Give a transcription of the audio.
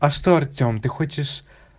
а что артем ты хочешь